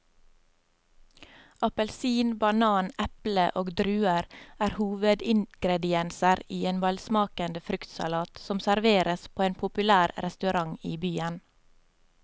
Appelsin, banan, eple og druer er hovedingredienser i en velsmakende fruktsalat som serveres på en populær restaurant i byen.